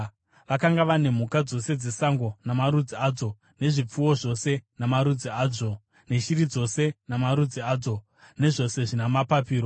Vakanga vane mhuka dzose dzesango namarudzi adzo, nezvipfuwo zvose namarudzi azvo neshiri dzose namarudzi adzo, nezvose zvina mapapiro.